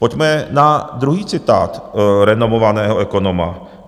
Pojďme na druhý citát renomovaného ekonoma.